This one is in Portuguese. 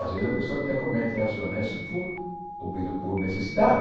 Às vezes a pessoa até comete atos desonestos por obriga por necessidade.